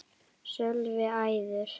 Sölvi: Eiður?